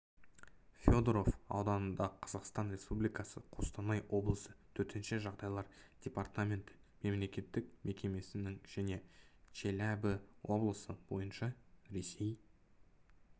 федоров ауданында қазақстан республикасы қостанай облысы төтенше жағдайлар департаменті мемлекеттік мекемесінің және челябі облысы бойынша ресей